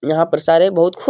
यहाँ पर सारे बहुत खू --